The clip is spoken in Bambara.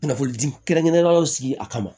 Kunnafoni di kɛrɛnkɛrɛnnenw sigi a kama